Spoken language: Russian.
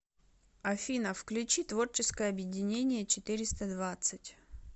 афина включи творческое объединение четыреста двадцать